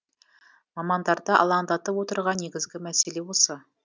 мамандарды алаңдатып отырған негізгі мәселе осы